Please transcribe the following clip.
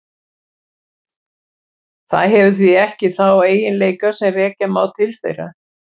Það hefur því ekki þá eiginleika sem rekja má til þeirra.